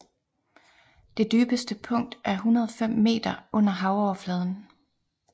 Det dybeste punkt er 105 meter under havoverfladen